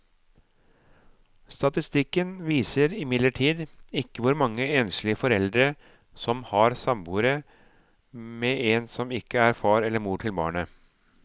Statistikken viser imidlertid ikke hvor mange enslige foreldre som har samboere med en som ikke er far eller mor til barnet.